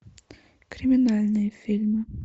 криминальные фильмы